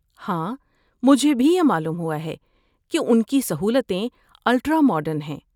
ہاں، مجھے بھی یہ معلوم ہوا ہے کہ ان کی سہولتیں الٹرا ماڈرن ہیں۔